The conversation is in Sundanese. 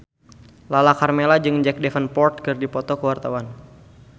Lala Karmela jeung Jack Davenport keur dipoto ku wartawan